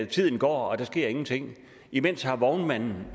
tiden går og der sker ingenting imens har vognmanden